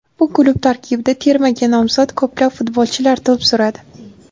Bu klub tarkibida termaga nomzod ko‘plab futbolchilar to‘p suradi.